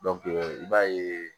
i b'a ye